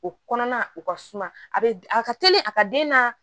O kɔnɔna o ka suma a bɛ a ka teli a ka den na